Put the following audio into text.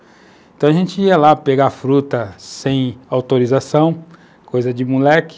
Então, a gente ia lá pegar a fruta sem autorização, coisa de moleque,